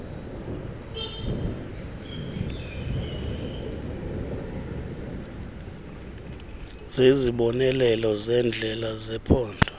zezibonelelo zendlela zephondo